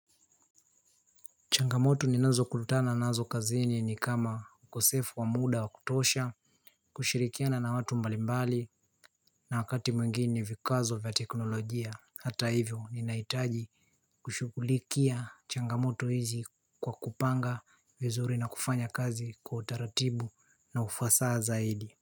Changamoto ninazo kukutana na nazo kazini ni kama ukosefu wa muda wa kutosha kushirikiana na watu mbalimbali na wakati mwingine vikwazo vya teknolojia Hata hivyo ninaitaji kushugulikia changamoto hizi kwa kupanga vizuri na kufanya kazi kwa utaratibu na ufasaa zaidi.